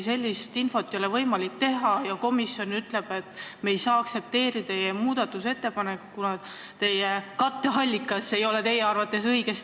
Sellist infot ei ole võimalik näha, ometi komisjon ütleb, et me ei saa aktsepteerida teie muudatusettepanekut, kuna katteallikas ei ole teie arvates õige.